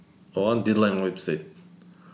оған дедлайн қойып тастайды